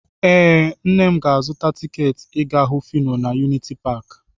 Ee, nna m ga-azụta tiketi ịga hụ Fino na yuniti paakị.